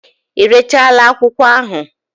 Irechala akwụkwọ ahụ?